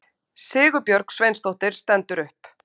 Sigurbjörg Sveinsdóttir stendur upp.